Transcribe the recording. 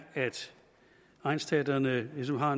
at egnsteatrene ligesom har